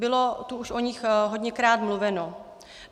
Bylo tu už o nich hodněkrát mluveno.